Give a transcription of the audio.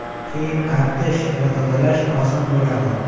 Keyin artish va tozalash oson bo‘ladi.